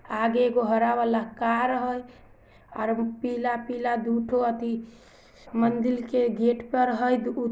आगे गोहरा वाला कार है ओर पीला पीला धूप हाती मंदिर के गेट पर हेय।